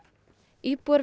íbúar við